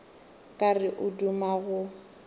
ka re o duma go